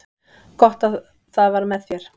Gott að það var með þér.